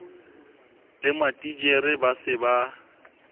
le matitjhere ba se ba